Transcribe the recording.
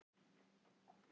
spurði Valdimar kuldalega.